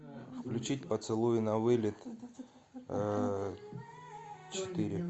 включить поцелуи на вылет четыре